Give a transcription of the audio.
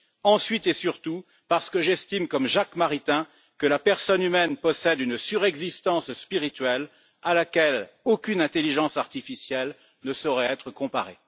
ensuite et surtout, parce que j'estime, comme Jacques Maritain, que la personne humaine possède une surexistence spirituelle à laquelle aucune intelligence artificielle ne saurait être comparée.